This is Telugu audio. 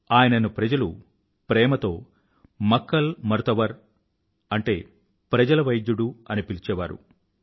ఆయనను ప్రజలు ప్రేమతో మక్కల్ మరుతవర్ప్రజల వైద్యుడు అని పిలిచేవారు